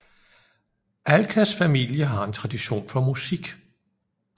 Alkas familie har en tradition for musik